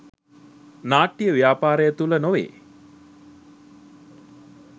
නාට්‍ය ව්‍යාපාරය තුළ නොවේ.